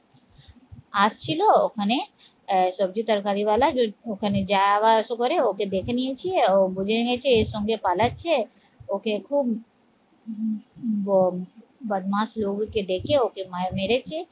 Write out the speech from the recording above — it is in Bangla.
আসছিল ওখানে আহ সবজি তরকারি ওয়াল ওখানে যাওয়া আসা করে ওকে দেখে নিয়েছি ও বুঝে নিয়েছে এর সঙ্গে পালাচ্ছে ওকে খুব ব বদমাশ লোগো কে ডেকে ওকে মেরেছে